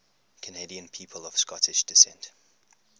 canadian people of scottish descent